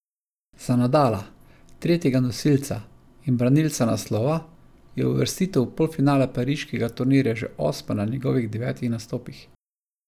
Za Nadala, tretjega nosilca in branilca naslova, je uvrstitev v polfinale pariškega turnirja že osma na njegovih devetih nastopih.